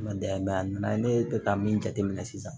Ma dayɛlɛ a nana ye ne bɛ ka min jateminɛ sisan